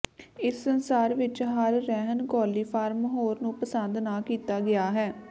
ਇਸ ਸੰਸਾਰ ਵਿਚ ਹਰ ਰਹਿਣ ਕੋਲੀਫਾਰਮ ਹੋਰ ਨੂੰ ਪਸੰਦ ਨਾ ਕੀਤਾ ਗਿਆ ਹੈ